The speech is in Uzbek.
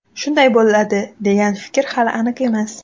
Shunday bo‘ladi degan fikr hali aniq emas.